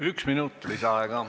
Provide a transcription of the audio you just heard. Üks minut lisaaega.